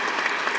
Slava Ukraini!